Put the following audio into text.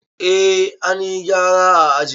Eh, an yi gyara a ajin.